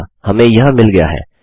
अतः हमें यह मिल गया है